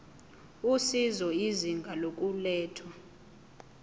usizo izinga lokulethwa